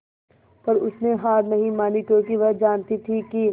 पर उसने हार नहीं मानी क्योंकि वह जानती थी कि